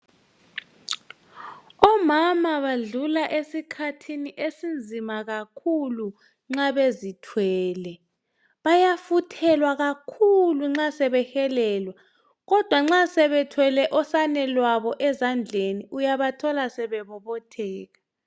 Omama badlula esikhathini esinzima kakhulu nxa bezithwele. Bayafuthelwa kakhulu nxa sebehelelwa, kodwa nxa sebethwele osane lwabo ezandleni, uyabathola sebe bobotheka.